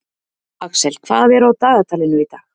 Axel, hvað er á dagatalinu í dag?